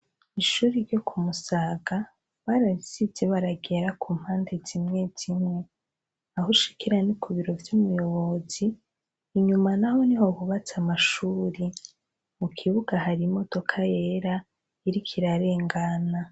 Ishuri ryo ku musaga bararisize ibara ryera ku mpanda zimwezimwe aho ushikira ni ku biro vy'umuyobozi, inyuma naho niho bubatse amashuri, mu kibuga hari imodoka yera iriko irarengana.